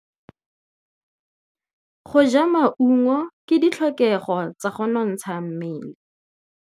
Go ja maungo ke ditlhokegô tsa go nontsha mmele.